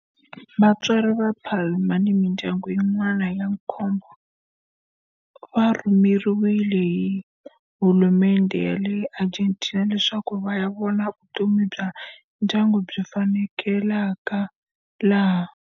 Vatswari va Palma ni mindyangu yin'wana ya nkombo va rhumeriwe hi hulumendhe ya le Argentina leswaku va ya vona loko vutomi bya ndyangu byi faneleka laha.